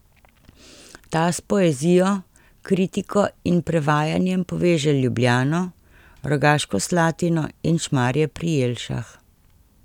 Ta s poezijo, kritiko in prevajanjem poveže Ljubljano, Rogaško Slatino in Šmarje pri Jelšah.